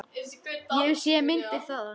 Ég hef séð myndir þaðan.